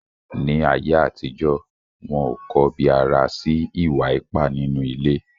Ni ayé àtijọ́, wọn ò kọbi ara sí ìwà ipá nínú ilé.